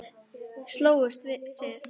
Slógust þið?